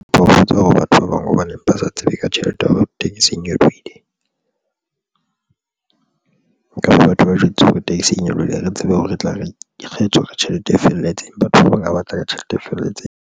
Ba hopotsa hore batho ba bang hobaneng ba sa tsebe ka tjhelete ya hore tekesi e nyolohile ke batho ba jwetse hore tekesi e nyolohile. Ha re tsebe hore re tla re kgethe hore tjhelete e felletseng batho ba bang a batla ka tjhelete e felletseng.